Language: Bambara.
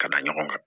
Ka da ɲɔgɔn kan